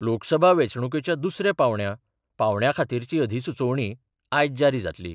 लोकसभा वेंचणुकेच्या दुसऱ्या पांवड्या पांवड्या खातीरची अधिसुचोवणी आयज जारी जातली.